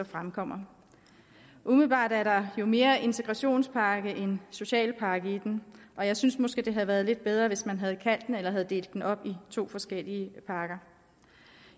fremkommer umiddelbart er der jo mere integrationspakke end socialpakke i den og jeg synes måske at det havde været lidt bedre hvis man havde delt den op i to forskellige pakker